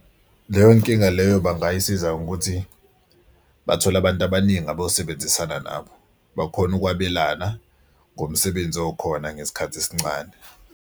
Leyo nkinga leyo bangayisiza ngokuthi bathole abantu abaningi abazosebenzisana nabo bakhone ukwabelana ngomsebenzi okhona ngesikhathi esincane.